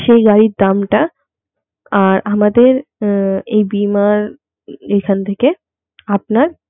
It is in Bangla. সেই গাড়ির দামটা আর আমাদের এই বীমার এখান থেকে আপনার